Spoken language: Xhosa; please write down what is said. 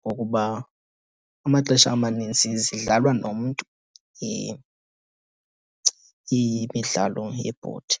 Ngokuba amaxesha amaninzi zidlalwa nomntu imidlalo yebhodi.